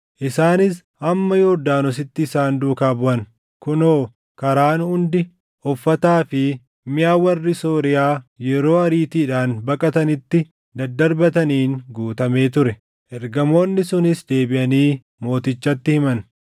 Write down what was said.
Isaanis hamma Yordaanositti isaan duukaa buʼan; kunoo karaan hundi uffataa fi miʼa warri Sooriyaa yeroo ariitiidhaan baqatanitti daddarbataniin guutamee ture. Ergamoonni sunis deebiʼanii mootichatti himan.